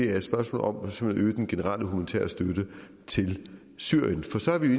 er et spørgsmål om at øge den generelle humanitære støtte til syrien for så er vi